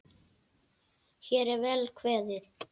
Hér er vel kveðið!